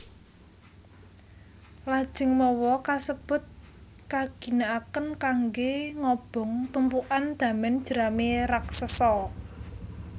Lajeng mawa kasebut kaginakaken kanggé ngobong tumpukan damen jerami raksesa